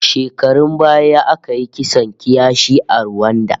Shekarun baya aka yi kisan kiyashi a Ruwanda